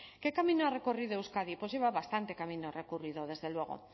qué camino ha recorrido euskadi pues lleva bastante camino recorrido desde luego